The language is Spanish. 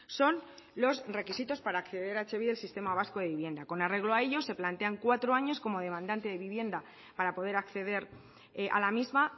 son los requisitos para acceder a etxebide sistema vasco de vivienda con arreglo a ello se plantean cuatro años como demandante de vivienda para poder acceder a la misma